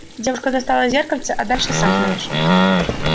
девушка достала зеркальце а дальше сам знаешь